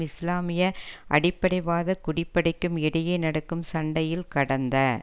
இஸ்லாமிய அடிப்படைவாத குடிப்படைக்கும் இடையே நடக்கும் சண்டையில் கடந்த